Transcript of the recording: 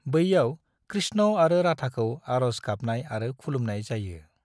बैयाव कृष्ण आरो राधाखौ आरज गाबनाय आरो खुलुमनाय जायो।